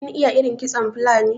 kin iya irin kitson Fulani?